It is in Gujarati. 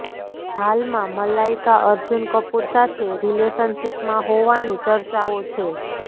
હાલમાં મલાઈકા અર્જુન કપૂર સાથે રીલેશનશીપમાં હોવાની ચર્ચાઓ છે